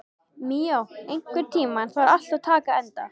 Míó, einhvern tímann þarf allt að taka enda.